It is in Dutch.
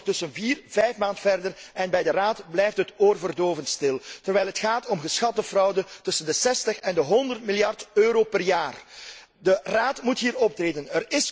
Wij zijn ondertussen vier à vijf maanden verder en bij de Raad blijft het oorverdovend stil, terwijl het gaat om een geschatte fraude van tussen de 60 en 100 miljard euro per jaar. De Raad moet hier optreden.